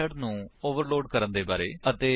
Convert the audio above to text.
method ਨੂੰ overload ਕਰਨ ਦੇ ਬਾਰੇ ਵਿੱਚ